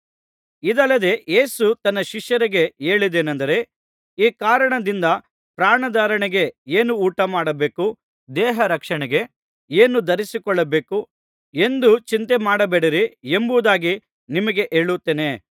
ಇದಲ್ಲದೆ ಯೇಸು ತನ್ನ ಶಿಷ್ಯರಿಗೆ ಹೇಳಿದ್ದೇನಂದರೆ ಈ ಕಾರಣದಿಂದ ಪ್ರಾಣಧಾರಣೆಗೆ ಏನು ಊಟ ಮಾಡಬೇಕು ದೇಹ ರಕ್ಷಣೆಗೆ ಏನು ಧರಿಸಿಕೊಳ್ಳಬೇಕು ಎಂದು ಚಿಂತೆಮಾಡಬೇಡಿರಿ ಎಂಬುದಾಗಿ ನಿಮಗೆ ಹೇಳುತ್ತೇನೆ